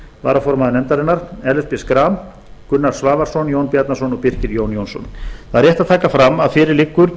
varaformaður nefndarinnar ellert b schram gunnar svavarsson jón bjarnason og birkir j jónsson það er rétt að taka fram að fyrir liggur